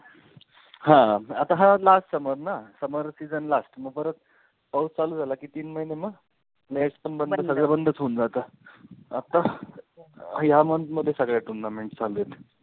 हा आता हा last summer ना summer season last मग परत पाऊस चालू झाला की तीन महिने मग nest पण बंद सगळं बंदच होऊन जातं. आत्ता ह्या month मध्ये सगळ्या tournaments चालू आहेत.